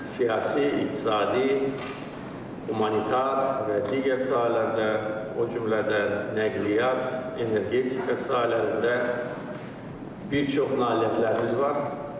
Siyasi, iqtisadi, humanitar və digər sahələrdə, o cümlədən nəqliyyat, energetika sahələrində bir çox nailiyyətlərimiz var.